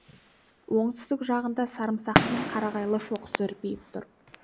оңтүстік жағында сарымсақтының қарағайлы шоқысы үрпиіп тұр